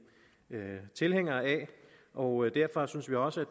tilhængere af og derfor synes vi også at